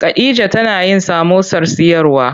Khadija tana yin samosar siyarwa.